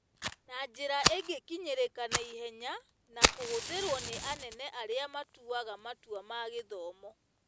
Na njĩra ĩngĩkinyĩrĩka naihenya na kũhũthĩrwo nĩ anene arĩa matuaga matua ma-gĩthomo.